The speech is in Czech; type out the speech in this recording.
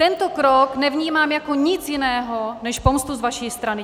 Tento krok nevnímám jako nic jiného než pomstu z vaší strany.